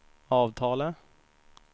avtalet